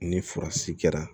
Ni furasi kɛra